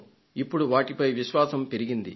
ఇప్పుడు వాటిపై విశ్వాసం పెరిగింది